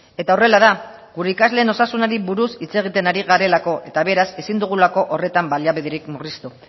eta horrela da gure ikasleen osasunari buruz hitz egiten ari garelako eta beraz ezin dugulako horretan baliabiderik murriztu